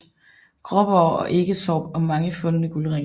Gråborg og Eketorp og mange fundne guldringe